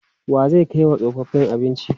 Wa zai kai wa tsofaffi abinci?